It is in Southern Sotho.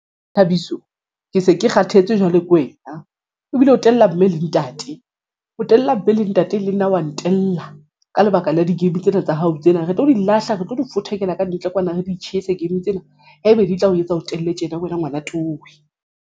Thabiso ke se ke kgathetse jwale ke wena ebile o tella mme le ntate o tella mme le ntate le nna wa ntella ka lebaka la di-game tsena tsa hao tsena re tlo di lahla re tlo di fothekela kantle kwana re di tjhese game tsena ha ebe di tla o etsa o telle tjena wena ngwana towe.